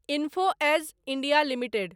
info edge India limited